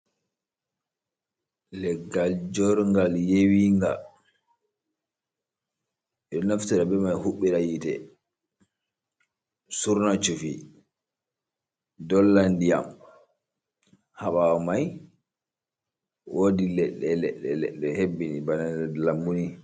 Leggal jorngal yewi nga ɗo naftira be ma huɓɓira hite surname cufi dollan diyam ha ɓawo mai wodi leɗɗe leɗɗe hebbini bana nder lambuni.